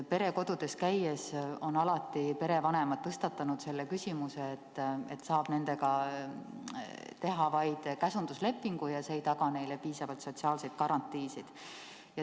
Perekodudes käies olen kuulnud, kuidas perevanemad on tõstatanud selle küsimuse, et nendega saab teha vaid käsunduslepingu, mis ei taga neile piisavalt sotsiaalseid garantiisid.